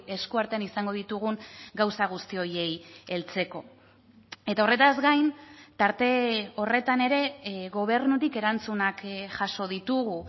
esku artean izango ditugun gauza guzti horiei heltzeko eta horretaz gain tarte horretan ere gobernutik erantzunak jaso ditugu